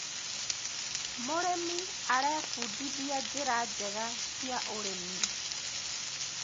mũrĩmi arebundithia njira njega cia ũrĩmi